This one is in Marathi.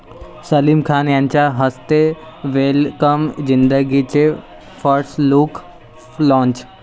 सलीम खान यांच्या हस्ते 'वेलकम जिंदगी 'चे फर्स्ट लुक लाँच